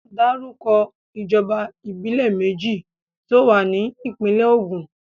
Dárúkọ ìjọba ìbílẹ̀ méjì tó wà ní ìpínlè Ògùn.